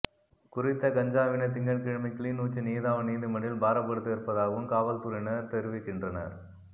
குறித்த கஞ்சாவினை திங்கட்கிழமை கிளிநொச்சி நீதாவன் நீதிமன்றில் பாரப்படுத்த இருப்பதாகவும் காவல்துறையினர் தெரிவிக்கின்றனர்